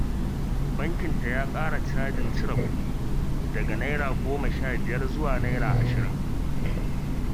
Bankın ta ya ƙara chajin cire kuɗi daga Naira goma sha biyar zuwa Naira ashirin